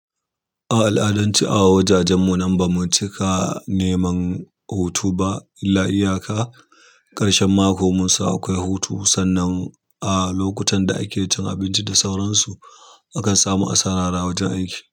A al'adanci a wajajenmu nan ba mu cika neman hutu ba illa iyaka ƙarshen mako munsan akwai hutu sannan a lokutan da ake cin abinci da sauransu akan samu a sarara wajen aiki.